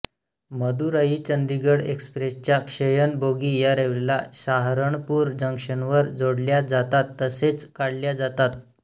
मदुराई चंडीगढ एक्सप्रेसच्या श्ययन बोगी या रेल्वेला साहरणपूर जंक्शनवर जोडल्या जातात तसेच काढल्या जातात